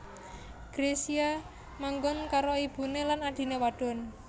Gracia manggon karo ibuné lan adhiné wadon